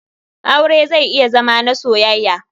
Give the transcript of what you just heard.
Aure zai iya Zama na soyaya.